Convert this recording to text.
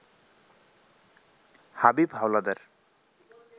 Habib Howlader